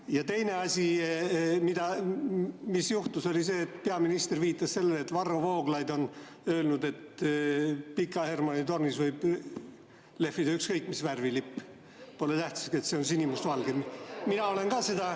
Ja teine asi, mis juhtus, oli see, et peaminister viitas sellele, et Varro Vooglaid on öelnud, et Pika Hermanni tornis võib lehvida ükskõik mis värvi lipp, pole tähtis, kas see on sinimustvalge.